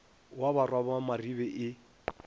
wa barwa ba maribe e